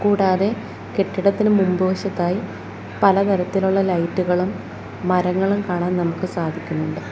കൂടാതെ കെട്ടിടത്തിന് മുമ്പ് വശത്തായി പല തരത്തിലുള്ള ലൈറ്റ് കളും മരങ്ങളും കാണാൻ നമുക്ക് സാധിക്കുന്നുണ്ട്.